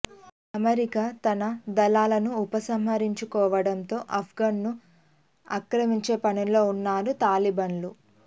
America తన దళాలను ఉపసంహరించుకోవటంతో అప్గాన్ ను అక్రమించే పనిలో ఉన్నారు తాలిబన్లు